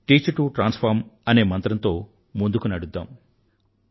teach to transform అనే మంత్రం తో ముందుకు నడుద్దాం